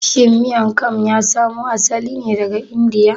Shin Miang kam ya samo asali ne daga Indiya?